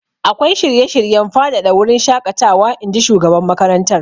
Akwai shirye-shiryen faɗaɗa wurin shaƙatawa, in ji shugaban makarantar.